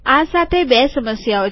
આ સાથે બે સમસ્યાઓ છે